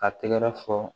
Ka tɛgɛrɛ fɔ